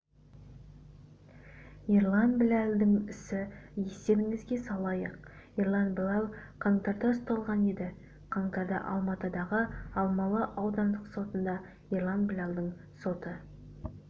ерлан біләлдің ісі естеріңізге салайық ерлан біләл қаңтарда ұсталған еді қаңтарда алматыдағы алмалы аудандық сотында ерлан біләлдің соты